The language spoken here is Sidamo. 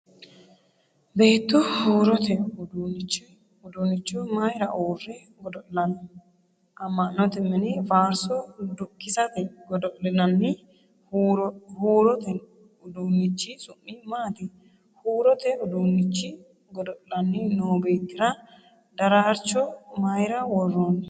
Beettu huurote uduunnicho mayra uurre godo'lanno ? Ama'note mine faarso dukkisate godo'linanni huuurote uduunnichi su'mi maati ? Huurote uduunnicho godo'lanni noo beettira daraarcho mayra worroonni ?